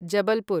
Jabalpur